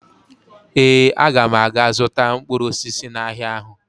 Ee, aga m aga zụta mkpụrụ osisi n'ahịa ahụ